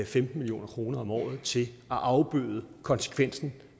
femten million kroner om året til at afbøde konsekvensen